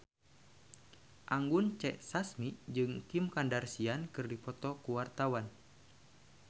Anggun C. Sasmi jeung Kim Kardashian keur dipoto ku wartawan